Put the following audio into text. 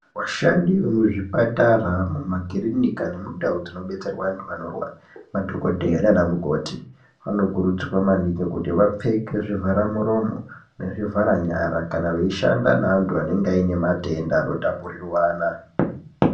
Vashandi vemuzvipatara makiriniki nemundau dzinodetserwa antu anorwara madhokodheya nana mukoti vanokurudzirwa maningi kuti vapfeke zvivhara muromo nezvivhara nyara kana meishanda neantu anenge ane matenda anotapurirwana.